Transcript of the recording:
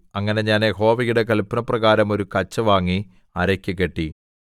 അങ്ങനെ ഞാൻ യഹോവയുടെ കല്പനപ്രകാരം ഒരു കച്ച വാങ്ങി അരയ്ക്ക് കെട്ടി